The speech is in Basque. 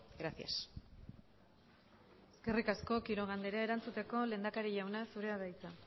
gracias eskerrik asko quiroga andrea erantzuteko lehendakari jauna zurea da hitza